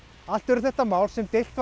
allt eru þetta mál sem deilt